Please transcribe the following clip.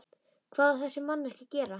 Hvað á þessi manneskja að gera?